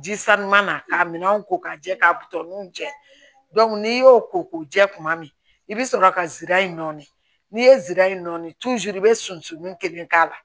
Ji sanuman na k'a minɛnw ko ka jɛ ka butɔninw jɛ n'i y'o ko k'u jɛ kuma min i bɛ sɔrɔ ka sira in nɔɔni n'i ye zira in nɔɔni i bɛ sunsun kelen k'a la